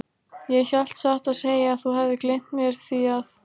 Ég hélt satt að segja að þú hefðir gleymt mér, því að.